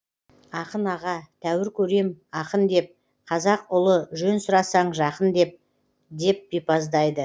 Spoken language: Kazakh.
ақын аға тәуір көрем ақын деп қазақ ұлы жөн сұрасаң жақын деп деп бипаздайды